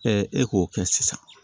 e k'o kɛ sisan